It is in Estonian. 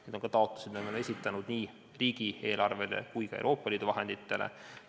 Need on ka taotlused, mida me oleme esitanud nii riigieelarvele kui ka Euroopa Liidu vahenditele.